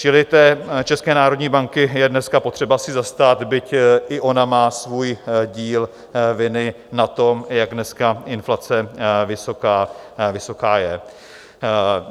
Čili té České národní banky je dnes potřeba se zastat, byť i ona má svůj díl viny na tom, jak dneska inflace vysoká je.